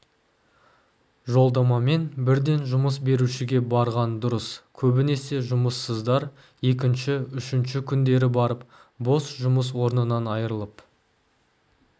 жолдамамен бірден жұмыс берушіге барған дұрыс көбінесе жұмыссыздар екінші үшінші күндері барып бос жұмыс орнынан айырылып